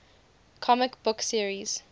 comic book series